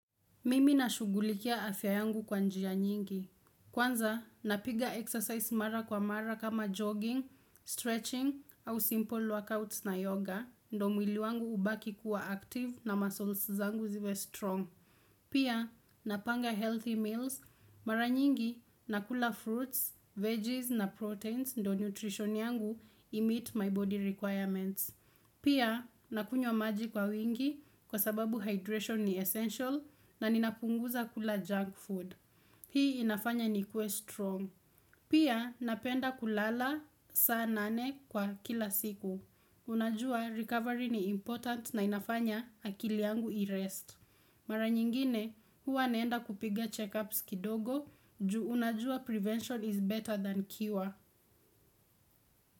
Mimi na shugulikia afya yangu kwa njia nyingi. Kwanza, napiga exercise mara kwa mara kama jogging, stretching, au simple workouts na yoga, ndo mwili wangu ubaki kuwa active na muscles zangu ziwe strong. Pia, napanga healthy meals. Mara nyingi, nakula fruits, veggies na proteins ndo nutrition yangu imeet my body requirements. Pia, nakunywa maji kwa wingi kwa sababu hydration ni essential na ninapunguza kula junk food. Hii inafanya ni kuwe strong. Pia, napenda kulala saa nane kwa kila siku. Unajua recovery ni important na inafanya akili yangu i-rest. Mara nyingine huwa neenda kupiga checkups kidogo juu unajua prevention is better than cure.